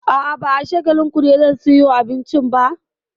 A'a, ba a Shagalinku ne zan sayo abincin ba.